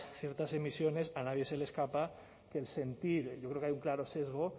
ciertas emisiones a nadie se le escapa que el sentir yo creo que hay un claro sesgo